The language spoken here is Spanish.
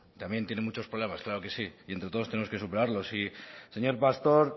también tiene muchos problemas claro que sí y entre todos tenemos que superarlo y señor pastor